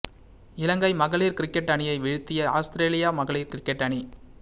இலங்கை மகளிர் கிரிக்கட் அணியை வீழ்த்திய அவுஸ்ரேலிய மகளிர் கிரிக்கட் அணி